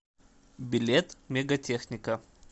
билет мегатехника